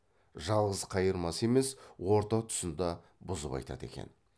жалғыз қайырмасы емес орта тұсын да бұзып айтады екен